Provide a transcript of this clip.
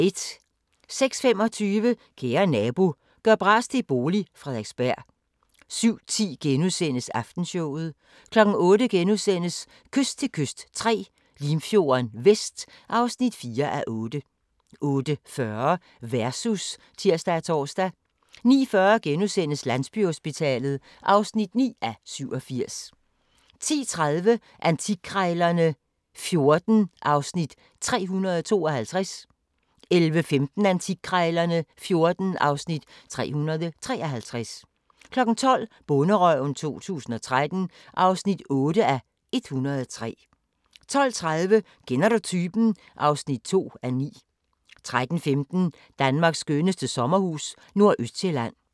06:25: Kære nabo – gør bras til bolig – Frederiksberg 07:10: Aftenshowet * 08:00: Kyst til kyst III – Limfjorden Vest (4:8)* 08:40: Versus (tir og tor) 09:40: Landsbyhospitalet (9:87)* 10:30: Antikkrejlerne XIV (Afs. 352) 11:15: Antikkrejlerne XIV (Afs. 353) 12:00: Bonderøven 2013 (8:103) 12:30: Kender du typen? (2:9) 13:15: Danmarks skønneste sommerhus – Nordøstsjælland